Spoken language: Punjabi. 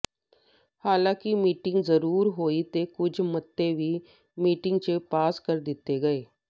ਹਾਲਾਂਕਿ ਮੀਟਿੰਗ ਜ਼ਰੂਰ ਹੋਈ ਤੇ ਕੁਝ ਮਤੇ ਵੀ ਮੀਟਿੰਗ ਚ ਪਾਸ ਕਰ ਦਿੱਤੇ ਗਏ